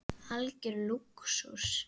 Algjör lúxus.